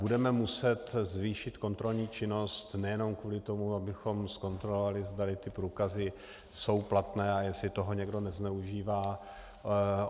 Budeme muset zvýšit kontrolní činnost nejenom kvůli tomu, abychom zkontrolovali, zda ty průkazy jsou platné a jestli toho někdo nezneužívá.